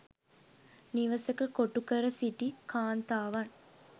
නිවසක කොටු කර සිටි කාන්තාවන්